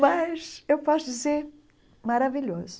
Mas eu posso dizer, maravilhoso.